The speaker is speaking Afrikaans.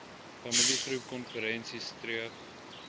familiegroep konferensie streef